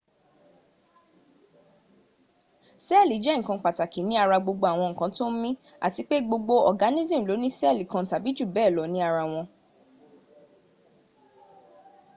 sẹ́ẹ̀lì jẹ́ ǹkan pàtàkì ní ara gbogbo ǹkan tó ń mí àti pé gbogbo organism lóní sẹ́ẹ̀lì kan tàbí jù bẹ́ẹ̀ lọ ní ara wọn